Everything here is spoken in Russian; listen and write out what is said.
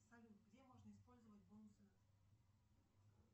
салют где можно использовать бонусы